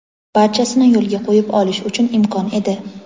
barchasini yo‘lga qo‘yib olish uchun imkon edi.